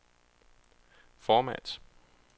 format